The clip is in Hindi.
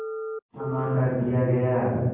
क्षमा कर दिया गया